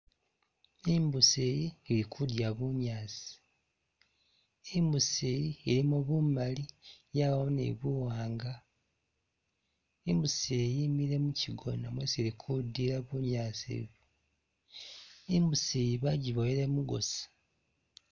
I'mbuusi iyi ili kudya bunyaasi, i'mbuusi iyi ilimo bumaali yabamo ni buwaanga, i'mbuusi yemile muchigona mwisi ili kulila bunyaasi bu, i'mbuusi bajiboyeele mugosi